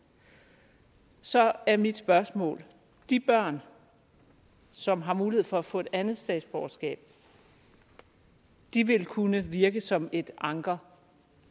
så er mit spørgsmål de børn som har mulighed for at få et andet statsborgerskab vil kunne virke som et anker